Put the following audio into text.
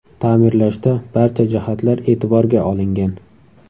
Ta’mirlashda barcha jihatlar e’tiborga olingan.